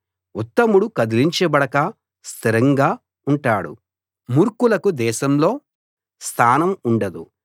ఉత్తముడు కదిలించబడక స్థిరంగా ఉంటాడు మూర్ఖులకు దేశంలో స్థానం ఉండదు